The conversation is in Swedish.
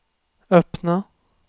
öppna